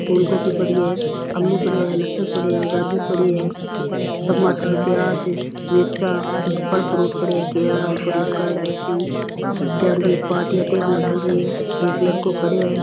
फूल गोभी पड़ी है आलू पड़िया है लहसुन पड़ियो है गाजर पड़ी है टमाटर प्याज मिर्चा फल फ्रूट पड़या है केला ऊपर लटकायोडा है रस्सी हु चारो मेर पाटिया टेबला ढल रही है एक लड़को खड़यो है।